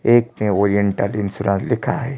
एक ने Oriental Insurance लिखा है।